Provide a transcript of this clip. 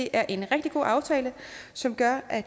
er en rigtig god aftale som gør at